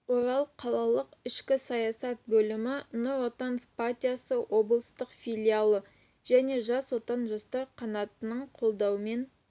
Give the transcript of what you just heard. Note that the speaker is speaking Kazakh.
орал қалалық ішкі саясат бөлімі нұр отан партиясы облыстық филиалы және жас отан жастар қанатының қолдауымен